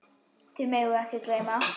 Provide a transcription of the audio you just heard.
Því megum við ekki gleyma.